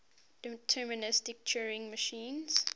deterministic turing machine